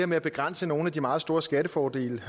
med at begrænse nogle af de meget store skattefordele